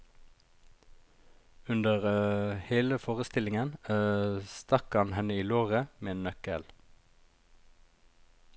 Under hele forestillingen stakk han henne i låret med en nøkkel.